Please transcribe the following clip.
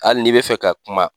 Hali n'i be fɛ ka kuma